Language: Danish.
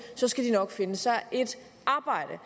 skal de nok finde sig et arbejde